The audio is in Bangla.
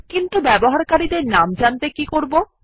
কিন্তু ব্যবহারকারীদের নাম জানতে কী করবো160